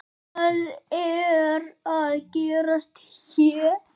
Hvað er að gerast hér?